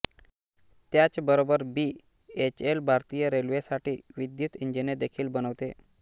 त्याच बरोबर B H E L भारतीय रेल्वेसाठी विद्युत इंजिने देखील बनवते